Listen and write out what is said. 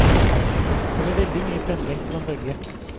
Det ble veldig mye pendling på dem begge.